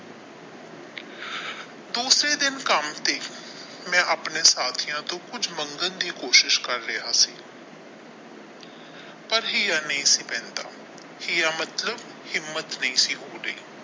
ਦੂਸਰੇ ਦਿਨ ਕੰਮ ਤੇ ਮੈ ਆਪਣੇ ਸਾਥੀਆਂ ਤੋਂ ਕੁਝ ਮੰਗਣ ਦੀ ਕੋਸ਼ਿਸ਼ ਕਰ ਰਿਹਾ ਸੀ ਪਰ ਹਿਯਾ ਨਹੀ ਸੀ ਪੈਂਦਾ ਹਿਯਾ ਮਤਲਬ ਹਿੰਮਤ ਨਹੀਂ ਸੀ ਹੋ ਰਹੀ।